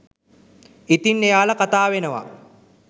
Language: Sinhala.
ඉතින් එයාල කතාවෙනවා